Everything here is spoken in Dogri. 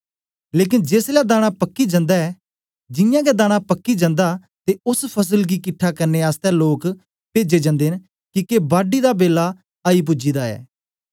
लेकन जेसलै दाना पक्की जन्दा ऐ जियां गै दाना पक्की जन्दा ते ओस फसल गी किट्ठा करने आसतै लोक पेजे ज्न्दे न किके बाड्डी दा बेला आई पूजी दा ऐ